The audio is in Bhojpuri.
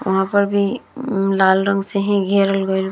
वहाँ पर भी लाल रंग से ही घेरल गईल --